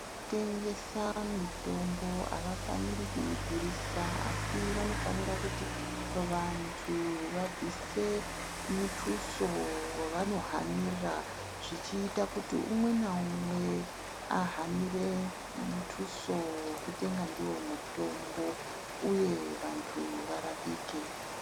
Kutengesa mitombo, avafaniri kuidhurisa asi vanofanire kuti vantu vabvise mutuso wevanohanira zvichiita kuti umwe naumwe ahanire mutuso wekutenga ndiwo mutombo uye vantu varapike.